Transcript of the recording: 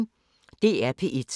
DR P1